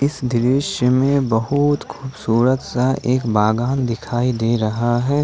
इस दृश्य में बहुत खूबसूरत सा एक बागान दिखाई दे रहा है।